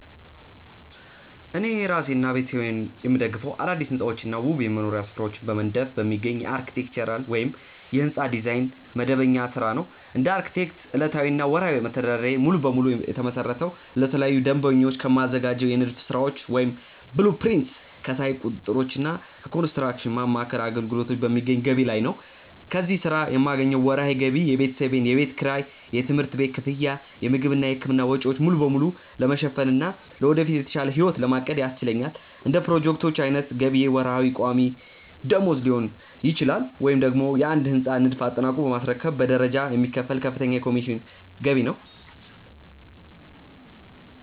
እኔ እራሴንና ቤተሰቤን የምደግፈው አዳዲስ ሕንፃዎችንና ውብ የመኖሪያ ስፍራዎችን በመንደፍ በሚገኝ የአርክቴክቸር (የሕንፃ ዲዛይን) መደበኛ ሥራ ነው። እንደ አንድ አርክቴክት፣ ዕለታዊና ወርሃዊ መተዳደሪያዬ ሙሉ በሙሉ የተመሰረተው ለተለያዩ ደንበኞች ከማዘጋጃቸው የንድፍ ሥራዎች (blueprints)፣ ከሳይት ቁጥጥሮችና ከኮንስትራክሽን ማማከር አገልግሎቶች በሚገኝ ገቢ ላይ ነው። ከዚህ ሥራ የማገኘው ወርሃዊ ገቢ የቤተሰቤን የቤት ኪራይ፣ የትምህርት ቤት ክፍያ፣ የምግብና የሕክምና ወጪዎችን ሙሉ በሙሉ ለመሸፈንና ለወደፊት የተሻለ ሕይወት ለማቀድ ያስችለኛል። እንደ ፕሮጀክቶቹ ዓይነት ገቢዬ ወርሃዊ ቋሚ ደመወዝ ሊሆን ይችላል፤ ወይም ደግሞ የአንድን ሕንፃ ንድፍ አጠናቆ በማስረከብ በደረጃ የሚከፈል ከፍተኛ የኮሚሽን ገቢ ነው።